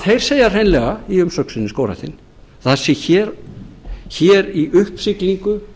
þeir segja hreinlega í umsögn sinni skógræktin að það sé hér í uppsiglingu